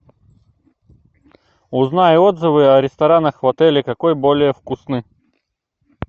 узнай отзывы о ресторанах в отеле какой более вкусный